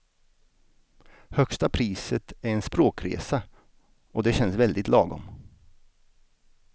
Högsta priset är en språkresa och det känns väldigt lagom.